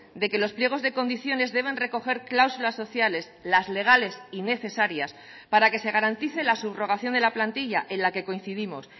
de que los pliegos de condiciones deben recoger cláusulas sociales las legales y necesarias para que se garantice la subrogación de la plantilla en la que coincidimos